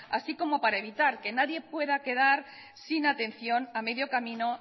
así como para evitar que nadie pueda quedar sin atención a medio camino